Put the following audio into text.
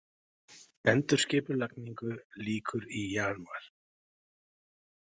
Endurskipulagningu lýkur í janúar